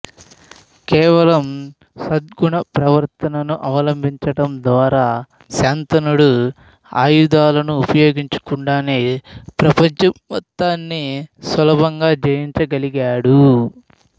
కేవలం సద్గుణ ప్రవర్తనను అవలంబించడం ద్వారా శాంతనుడు ఆయుధాలను ఉపయోగించకుండానే ప్రపంచం మొత్తాన్ని సులభంగా జయించగలిగాడు